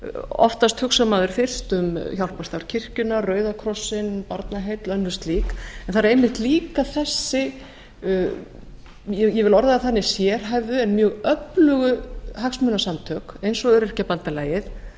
oftast hugsar maður fyrst um hjálparstarf kirkjunnar rauða krossinn barnaheill og önnur slík en það eru einmitt líka hin sem ég vil orða svo sérhæfðu en mjög öflugu hagsmunasamtök eins og öryrkjabandalgið